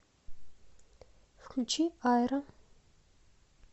включи айро